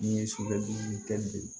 N'i ye sugunɛbilennin kɛ